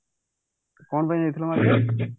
କଣ ପାଇଁ ଯାଇଥିଲ market